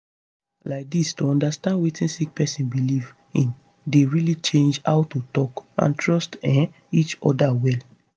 laidis to understand wetin sick person belief in dey really change how to talk and trust um each oda well